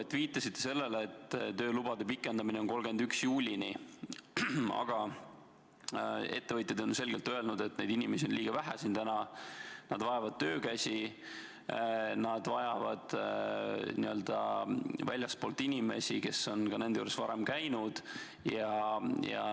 Te viitasite sellele, et töölubasid on pikendatud 31. juulini, aga ettevõtjad on selgelt öelnud, et neid inimesi on liiga vähe siin täna, nad vajavad töökäsi, nad vajavad väljastpoolt inimesi, kes on nende juures ka varem käinud.